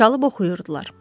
Çalıb oxuyurdular.